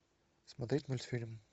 смотреть мультфильм